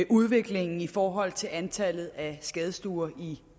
udviklingen i forhold til antallet af skadestuer